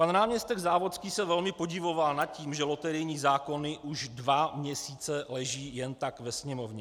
Pan náměstek Závodský se velmi podivoval nad tím, že loterijní zákony už dva měsíce leží jen tak ve Sněmovně.